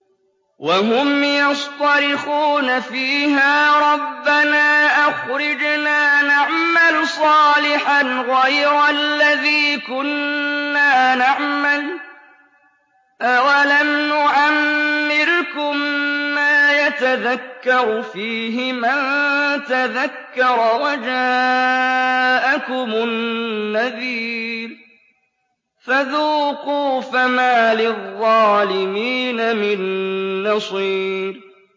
وَهُمْ يَصْطَرِخُونَ فِيهَا رَبَّنَا أَخْرِجْنَا نَعْمَلْ صَالِحًا غَيْرَ الَّذِي كُنَّا نَعْمَلُ ۚ أَوَلَمْ نُعَمِّرْكُم مَّا يَتَذَكَّرُ فِيهِ مَن تَذَكَّرَ وَجَاءَكُمُ النَّذِيرُ ۖ فَذُوقُوا فَمَا لِلظَّالِمِينَ مِن نَّصِيرٍ